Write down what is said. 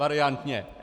Variantně.